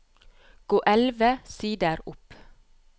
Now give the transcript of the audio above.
Gå elleve sider opp